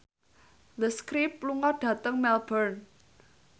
The Script lunga dhateng Melbourne